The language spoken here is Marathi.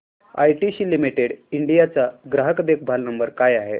आयटीसी लिमिटेड इंडिया चा ग्राहक देखभाल नंबर काय आहे